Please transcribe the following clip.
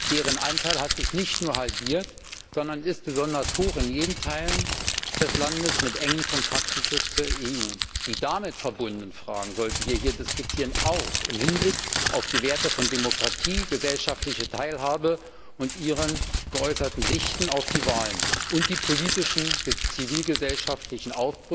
Deren Anteil hat sich nicht nur halbiert, sondern ist vor allem in den Teilen des Landes mit engen Kontakten zur EU niedrig. Die damit verbundenen Fragen sollten wir hier diskutieren, auch im Hinblick auf die Werte von Demokratie, gesellschaftlicher Teilhabe und die geäußerten Sichten auf die Wahlen und die politischen zivilgesellschaftlichen